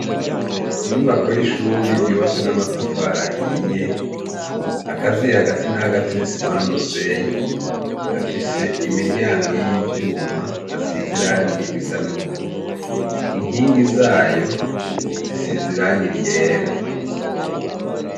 Inyubako y'ishuri ryubatse n'amatafari ahiye, akaziye hagati na hagati n'isima n'umusenyi, afise imiryango y'ivyuma asize irangi risa n'ubururu. Inkingi zayo zisize irangi ryera.